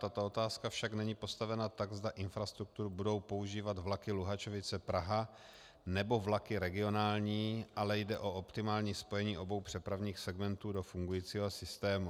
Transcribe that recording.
Tato otázka však není postavena tak, zda infrastrukturu budou používat vlaky Luhačovice - Praha, nebo vlaky regionální, ale jde o optimální spojení obou přepravních segmentů do fungujícího systému.